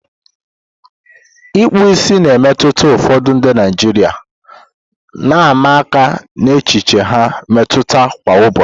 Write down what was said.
Ikpu ìsì na-emetụta ụfọdụ ndị Naijiria, na-ama aka n'echiche ha mmetụta kwa ụbọchị.